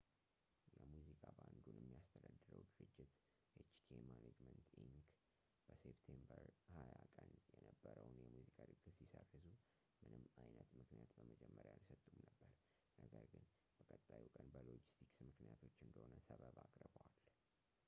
የሙዚቃ ባንዱን የሚያስተዳድረው ድርጅት፣ hk management inc.፣ በseptember 20 ቀን የነበረውን የሙዚቃ ድግስ ሲሰርዙ ምንም አይነት ምክንያት በመጀመሪያ አልሰጡም ነበር፣ ነገር ግን በቀጣዩ ቀን በሎጂስቲክስ ምክንያቶች እንደሆነ ሰበብ አቅርበዋል